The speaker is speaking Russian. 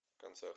концерт